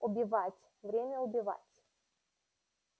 убивать время убивать